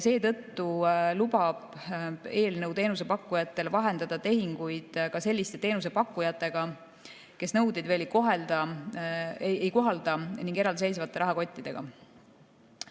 Seetõttu lubab eelnõu teenusepakkujatel vahendada tehinguid ka sellistele teenusepakkujatele, kes nõudeid veel ei kohalda, ning eraldiseisvate rahakottidega.